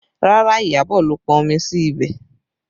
Rárá, Iyabọ̀ ló pọn omi sí ibẹ̀